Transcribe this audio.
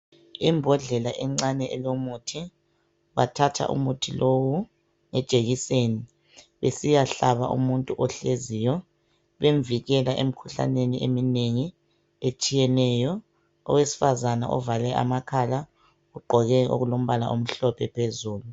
Imbodlela encane elomuthi . Bathatha umuthi lowu lejekiseni besiyahlaba umuntu ohleziyo. Bemvikela emkhuhlaneni eminengi etshiyeneyo .Owesifazana ovale amakhala ogqoke okulombala omhlophe phezulu .